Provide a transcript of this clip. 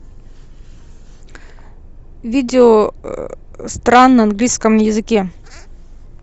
видео стран на английском языке